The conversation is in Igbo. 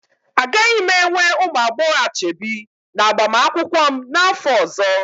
Agaghị m enwe ụmụ agbọghọ ashebi n'agbamakwụkwọ m n'afọ ọzọ.